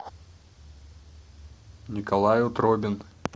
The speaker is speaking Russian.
николай утробин